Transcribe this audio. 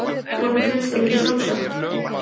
Honum finnst það líka sjálfsagt.